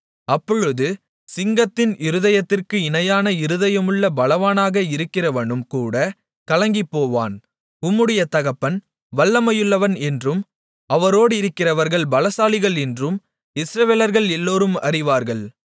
அப்பொழுது சிங்கத்தின் இருதயத்திற்கு இணையான இருதயமுள்ள பலவானாக இருக்கிறவனும்கூட கலங்கிப்போவான் உம்முடைய தகப்பன் வல்லமையுள்ளவன் என்றும் அவரோடிருக்கிறவர்கள் பலசாலிகள் என்றும் இஸ்ரவேலர்கள் எல்லோரும் அறிவார்கள்